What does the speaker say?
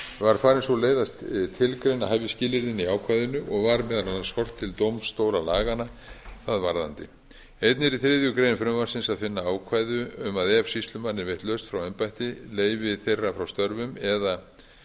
var farin sú leið að tilgreina hæfisskilyrðin í ákvæðinu og var meðal annars horft til dómstólalaganna það varðandi einnig er í þriðju greinar frumvarpsins að finna ákvæði um að ef sýslumanni er veitt lausn frá embætti leyfi þeirra frá störfum eða